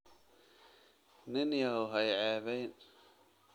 Nin yahow ha i ceebayn